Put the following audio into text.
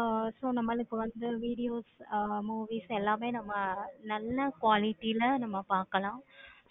ஆஹ் so இந்த மாதிரி இப்போ வந்து , movies எல்லாம் வந்து நல்ல qualities ல பார்க்கலாம்.